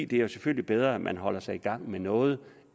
det er selvfølgelig bedre at man holder sig i gang med noget